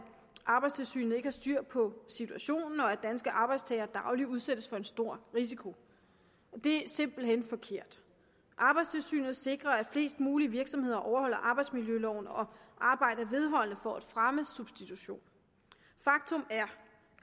arbejdstilsynet ikke har styr på situationen og at danske arbejdstagere dagligt udsættes for en stor risiko det er simpelt hen forkert arbejdstilsynet sikrer at flest mulige virksomheder overholder arbejdsmiljøloven og arbejder vedholdende for at fremme substitution faktum er